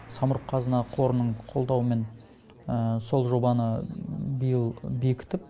самұрық қазына қорының қолдауымен сол жобаны биыл бекітіп